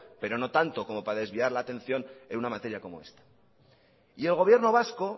pero no tanto como para desviar la atención en una materia como esta y el gobierno vasco